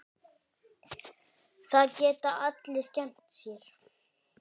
Það geta allir skemmt sér.